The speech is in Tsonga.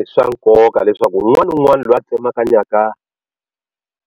I swa nkoka leswaku un'wana na un'wana loyi a tsemakanyaka